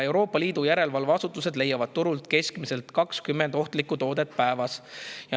Euroopa Liidu järelevalveasutused leiavad turult keskmiselt 20 ohtlikku toodet päevas.